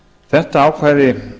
þetta ákvæði